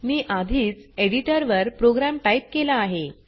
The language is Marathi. मी आधीच एडिटर वर प्रोग्राम टाइप केला आहे